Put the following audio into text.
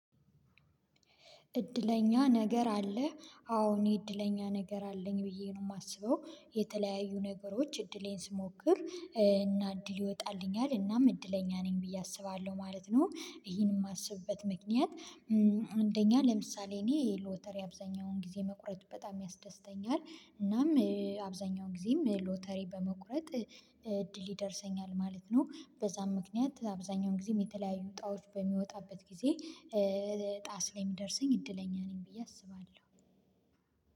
እድለኛ ነገር አለ። አዎ እኔ እድለኛ ነገር አለኝ ብዬ ነው የማስበው። የተለያዩ ነገሮች እድሌን ስሞክር እና እድል ይወጣልኛል እናም እድለኛ ነኝ ብዬ አስባለሁ ማለት ነው። ይሄን የማስብበት ምክንያት አንደኛ ለምሳሌ እኔ ሎተሪ አብዛኛውን ጊዜ መቁረጥ በጣም ያስደስተኛል። እናም አብዛኛውን ጊዜም ሎተሪ በመቁረጥ እድል ይደርሰኛል ማለት ነው። በዛም ምክንያት አብዛኛውን ጊዜም የተለያዩ እጣዎች በሚወጣበት ጊዜ እጣ ስለሚደርሰኝ እድለኛ ነኝ ብዬ አስባለሁ